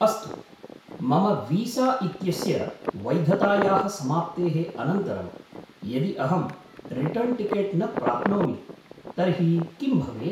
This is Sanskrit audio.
अस्तु, मम वीसा इत्यस्य वैधतायाः समाप्तेः अनन्तरं यदि अहं रिटर्न् टिकेट् न प्राप्नोमि तर्हि किं भवेत्?